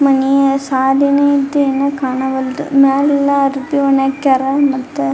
ಮನಿಯ ಸಾದಿನೀ ಇದ್ದೇನ್ ಕಾಣವಲ್ ದು ಮೇಲೆಲ್ಲಾ ಅರ್ಬಿ ಒಣ ಹಾಕ್ಯರ್ ಮತ್ತೆ --